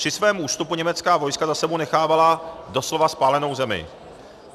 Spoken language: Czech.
Při svém ústupu německá vojska za sebou nechávala doslova spálenou zemi.